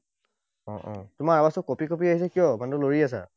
অ, অ, তোমাৰ আৱাজটো কপি কপি আহিছে কিয়? মানুহটো লৰি আছা?